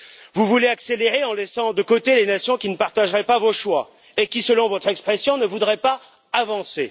Vous voulez accélérer en laissant de côté les nations qui ne partageraient pas vos choix et qui, selon votre expression, ne voudraient pas avancer.